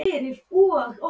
Ertu ósammála?